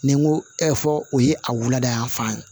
Ni n ko fɔ o ye a wulada y'an fan